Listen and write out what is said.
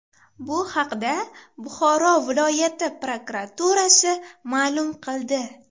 Bu haqda Buxoro viloyati prokuraturasi ma’lum qildi .